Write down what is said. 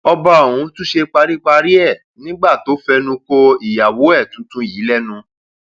ọba ọhún tún ṣe paríparí ẹ nígbà tó fẹnu ko ìyàwó ẹ tuntun yìí lẹnu